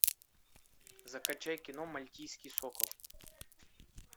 закачай кино мальтийский сокол